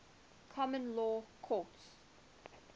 common law courts